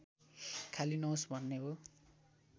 खाली नहोस् भन्ने हो